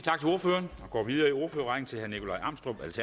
hvorfor gør